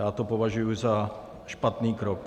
Já to považuji za špatný krok.